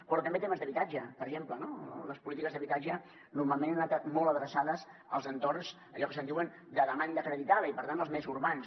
però també temes d’habitatge per exemple no les polítiques d’habitatge normalment han anat molt adreçades als entorns que se’n diuen de demanda acreditada i per tant els més urbans